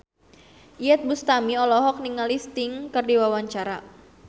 Iyeth Bustami olohok ningali Sting keur diwawancara